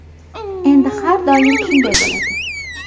Endi har doim shunday bo‘ladi.